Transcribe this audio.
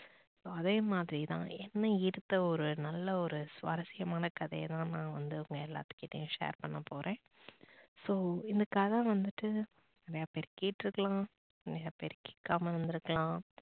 அதே மாதிரி தான் என்ன ஈர்த்த ஒரு நல்ல ஒரு சுவாரசியமான கதையை தான் நான் வந்து உங்க எல்லாத்து கிட்டையும் share பண்ண போறன் so இந்த கதை வந்துட்டு நிறையா பேரு கேட்டு இருக்கலாம் நிறையா பேரு கேக்காம இருந்து இருக்கலாம்